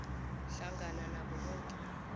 hlangana nabo boke